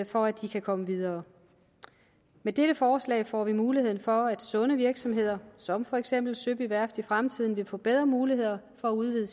for at de kan komme videre med dette forslag får vi muligheden for at sunde virksomheder som for eksempel søby værft i fremtiden vil få bedre muligheder for at udvide